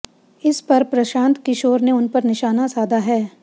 इस पर प्रशांत किशोर ने उन पर निशाना साधा है